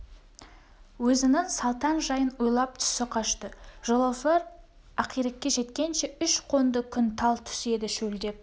өзінің салтаң жайын ойлап түсі қашты жолаушылар ақирекке жеткенше үш қонды күн тал түс еді шөлдеп